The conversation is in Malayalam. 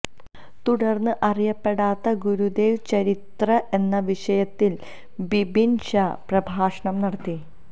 തുടർന്ന് അറിയപ്പെടാത്ത ഗുരുദേവ ചരിത്രം എന്ന വിഷയത്തിൽ ബിബിൻ ഷാ പ്രഭാഷണം നടത്തി